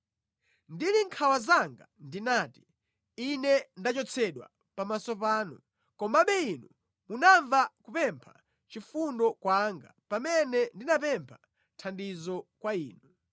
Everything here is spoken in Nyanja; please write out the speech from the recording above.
Ndili mʼnkhawa zanga ndinati, “Ine ndachotsedwa pamaso panu!” Komabe Inu munamva kupempha chifundo kwanga pamene ndinapempha thandizo kwa Inu.